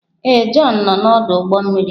Ee, Jọn nọ na ọdụ ụgbọ mmiri.